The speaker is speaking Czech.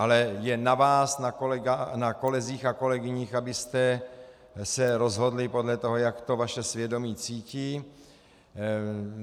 Ale je na vás, na kolezích a kolegyních, abyste se rozhodli podle toho, jak to vaše svědomí cítí.